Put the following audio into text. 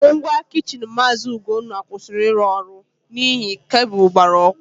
Ngwa kichin Maazị Ugonna kwụsịrị ịrụ ọrụ n'ihi kabụl gbara ọkụ.